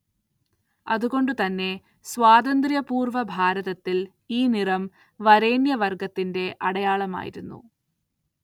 അതുകൊണ്ടുതന്നെ, സ്വാതന്ത്ര്യപൂർവ്വ ഭാരതത്തിൽ ഈ നിറം വരേണ്യവർഗ്ഗത്തിന്റെ അടയാളമായിരുന്നു.